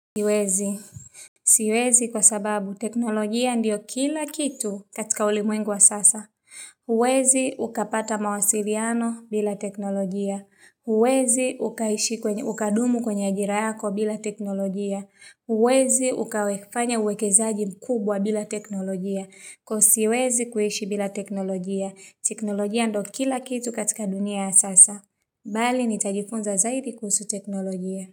Siwezi, siwezi kwa sababu teknolojia ndiyo kila kitu katika ulimwengu wa sasa, uwezi ukapata mawasiliano bila teknolojia, huwezi ukadumu kwenye ajira yako bila teknolojia, uwezi ukawefanya uwekezaji mkubwa bila teknolojia, kwa siwezi kuishi bila teknolojia, teknolojia ndo kila kitu katika dunia wa sasa, bali nitajifunza zaidi kuhusu teknolojia.